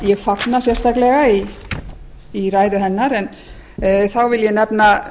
ég fagna sérstaklega í ræðu hennar en þar vil ég nefna